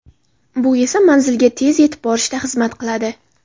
Bu esa manzilga tez yetib borishga xizmat qiladi.